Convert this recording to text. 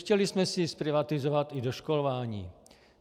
Chtěli jsme si zprivatizovat i doškolování.